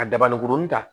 A dabalenkurunin ta